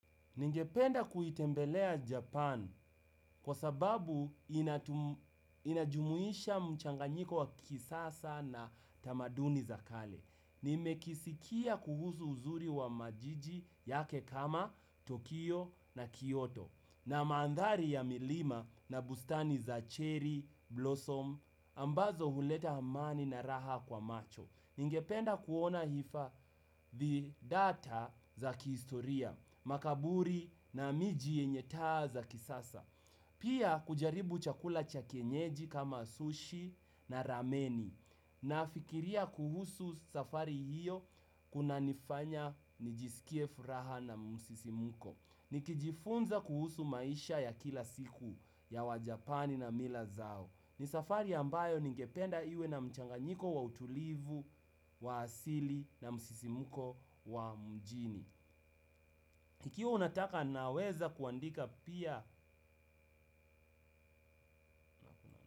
Ningependa kuitembelea Japan kwa sababu inajumuisha mchanganyiko wa kisasa na tamaduni za kale. Nimekisikia kuhusu uzuri wa majiji yake kama Tokyo na Kyoto na maandhari ya milima na bustani za cherry blossom, ambazo huleta amani na raha kwa macho. Ningependa kuona hifadhi data za kihistoria, makaburi na miji yenye taa za kisasa. Pia kujaribu chakula cha kienyeji kama sushi na rameni. Nafikiria kuhusu safari hiyo kuna nifanya nijisikie furaha na musisimuko. Nikijifunza kuhusu maisha ya kila siku ya wajapani na mila zao. Ni safari ambayo ningependa iwe na mchanganyiko wa utulivu, wa asili na msisimuko wa mjini. Ikiwa unataka naweza kuandika pia.